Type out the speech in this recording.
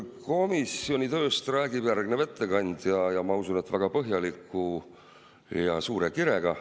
Komisjoni tööst räägib järgmine ettekandja ja ma usun, et väga põhjalikult ja suure kirega.